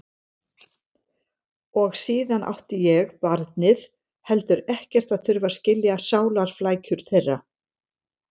Og síðan átti ég, barnið, heldur ekkert að þurfa að skilja sálarflækjur þeirra.